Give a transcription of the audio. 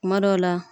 Kuma dɔw la